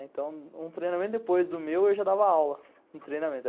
Então, um treinamento depois do meu, eu já dava aula no treinamento.